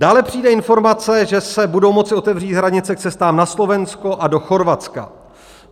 Dále přijde informace, že se budou moci otevřít hranice k cestám na Slovensko a do Chorvatska.